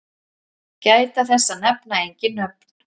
Gæta þess að nefna engin nöfn.